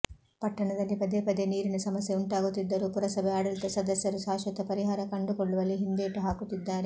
ಪಟ್ಟಣದಲ್ಲಿ ಪದೇಪದೇ ನೀರಿನ ಸಮಸ್ಯೆ ಉಂಟಾಗುತ್ತಿದ್ದರೂ ಪುರಸಭೆ ಆಡಳಿತ ಸದಸ್ಯರು ಶಾಶ್ವತ ಪರಿಹಾರ ಕಂಡುಕೊಳ್ಳುವಲ್ಲಿ ಹಿಂದೇಟು ಹಾಕುತ್ತಿದ್ದಾರೆ